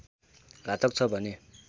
घातक छ भने